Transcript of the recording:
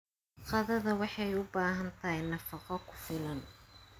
Qadada waxay u baahan tahay nafaqo ku filan.